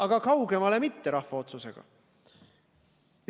Aga kaugemale mitte, rahva otsusega.